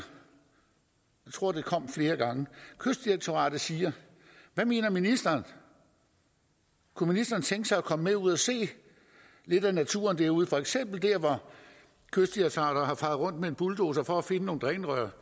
jeg tror det kom flere gange og kystdirektoratet siger hvad mener ministeren kunne ministeren tænke sig at komme med ud at se lidt af naturen derude for eksempel der hvor kystdirektoratet har faret rundt med en bulldozer for at finde nogle drænrør